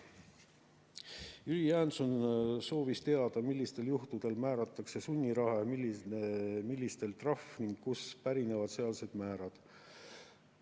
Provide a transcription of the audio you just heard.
Jüri Jaanson soovis teada, millistel juhtudel määratakse sunniraha ja millistel trahv ning kust pärinevad sealsed määrad.